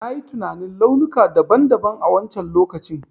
Na yi tinanin launuka daban daban a wancen lokacin.